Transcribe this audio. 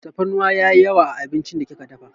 Tafarnuwa yayi yawa a abincin da kika dafa.